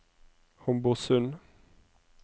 Homborsund